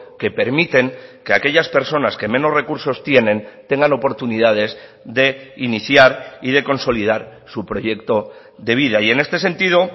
que permiten que aquellas personas que menos recursos tienen tengan oportunidades de iniciar y de consolidar su proyecto de vida y en este sentido